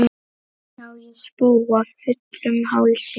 Sá ég spóa fullum hálsi.